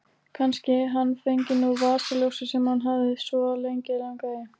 Kannski hann fengi nú vasaljósið sem hann hafði svo lengi langað í.